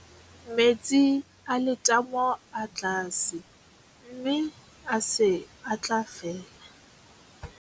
Metsi a letamo a tlase mme a se a tla fela.